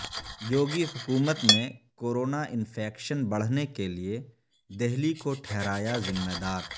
یوگی حکومت نے corona infection بڑھنے کے لیے دہلی کو ٹھہرایا ذمہ دار